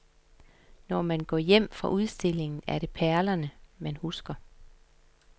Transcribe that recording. Når man går hjem fra udstillingen, er det perlerne man husker.